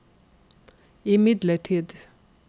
imidlertid